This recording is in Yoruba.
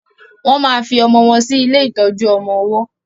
wón má fí ọmọ wón sí ilé ìtọjú ọmọ ọwó